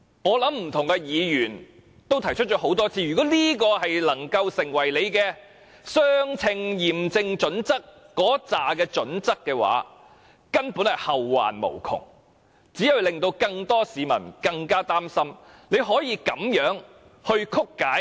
我想不同的議員已多次提出，如果這樣也能符合相稱驗證準則，將會後患無窮，只會令更多市民更加擔心，《基本法》竟然會被如此曲解。